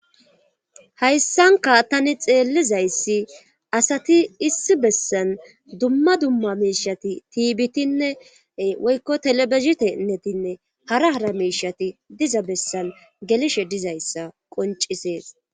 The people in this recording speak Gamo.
Hayssanka tani xeellizayssi asati issi bessan dumma dumma meishati tiibitinne woykko telebezitennetinne hara hara meishati diza bessan gelishe dizayssa qoncisees